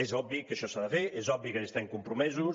és obvi que això s’ha de fer és obvi que hi estem compromesos